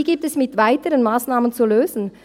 Diese gilt es mit weiteren Massnahmen zu lösen.